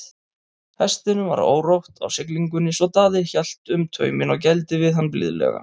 Hestinum var órótt á siglingunni svo Daði hélt um tauminn og gældi við hann blíðlega.